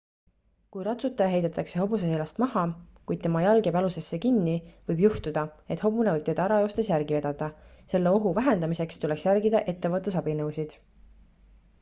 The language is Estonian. kui ratsutaja heidetakse hobuse seljast maha kuid tema jalg jääb jalusesse kinni võib juhtuda et hobune võib teda ära joostes järgi vedada selle ohu vähendamiseks tuleks järgida ettevaatusabinõusid